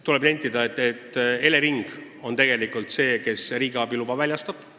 Tuleb nentida, et tegelikult on Elering see, kes riigiabi loa väljastab.